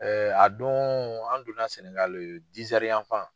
a don an donna Sɛnɛgali yanfan.